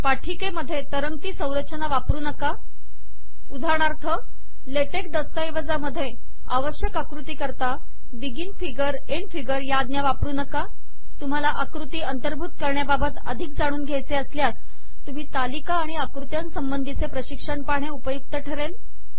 सादरीकरणामध्ये तरंगती संरचना वापरू नका उदाहरणार्थ ले टेक दस्तऐवजामध्ये आवश्यक आकृती करता बिगिन फिगर एन्ड फिगर या आज्ञा वापरू नका तुम्हाला आकृती अंतर्भूत करण्याबाबत अधिक जाणून घ्यायचे असल्यास तुम्ही तालिका आणि आक्ृत्यांसंबंधीचे प्रशिक्षण पहाणे उपयुक्त ठरेल